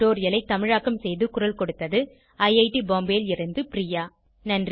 இந்த டுடோரியலை தமிழாக்கம் செய்து குரல் கொடுத்தது ஐஐடி பாம்பேவில் இருந்து பிரியா